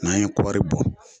N'an ye kɔri bɔ